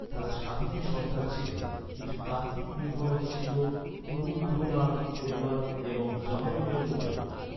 তারা স্বাধীন সর্দার ছিলেন। কিছু তাত্ত্বিক নির্ভরতা ছিল কুরুম্ব্রুনাদ পরিবার এবং জামোরিনের উপরেও।